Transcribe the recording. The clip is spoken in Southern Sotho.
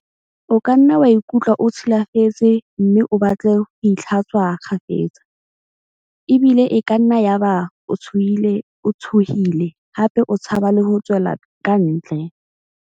O kanna wa ikutlwa o tshi lafetse mme o batle ho itlha-tswa kgafetsa, ebile e kanna ya ba o tshohile hape o tshaba le ho tswela kantle.